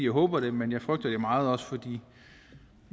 håber det men jeg frygter det meget også fordi